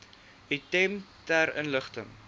item ter inligting